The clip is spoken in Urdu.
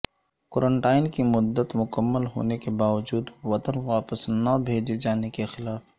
کونٹائن کی مدت مکمل ہونے کے باجود وطن واپس نہ بھیجے جانے کے خلاف